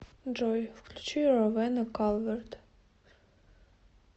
джой включи ровена калверт